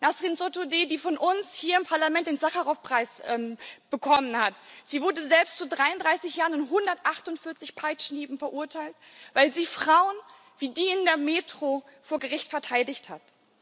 Nasrin Sotudeh, die von uns hier im Parlament den Sacharow Preis bekommen hat, wurde selbst zu 33 Jahren und 148 Peitschenhieben verurteilt, weil sie Frauen wie die in der Metro vor Gericht verteidigt hat.